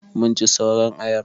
Mun ci sauran ayar.